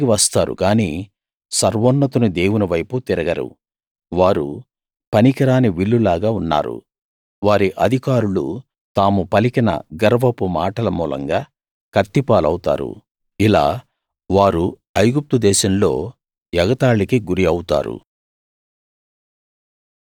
వారు తిరిగి వస్తారు గానీ సర్వోన్నతుని దేవుని వైపుకు తిరగరు వారు పనికిరాని విల్లులాగా ఉన్నారు వారి అధికారులు తాము పలికిన గర్వపు మాటల మూలంగా కత్తి పాలవుతారు ఇలా వారు ఐగుప్తుదేశంలో ఎగతాళికి గురి అవుతారు